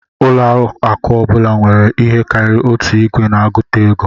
Ụlọ akụ ọ bụla nwere ihe karịrị otu igwe na-agụta ego